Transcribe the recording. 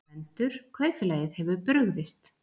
GVENDUR: Kaupfélagið hefur brugðist.